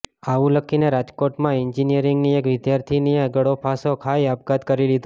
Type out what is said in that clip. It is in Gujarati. આવું લખીને રાજકોટમાં એન્જિનિયરિંગની એક વિદ્યાર્થિનીએ ગળેફાંસો ખાઈ આપઘાત કરી લીધો